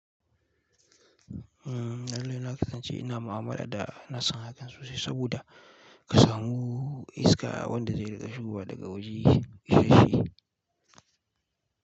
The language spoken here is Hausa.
Umm, halina kasance ina mu'amala da nassama ga sosai saboda ka samu iska wanda zai riga shigowa daga waje isashe.